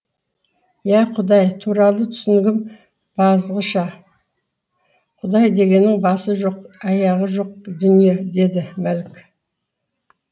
иә құдай туралы түсінігім бағзыша құдай дегенің басы жоқ аяғы жоқ дүние деді мәлік